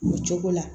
O cogo la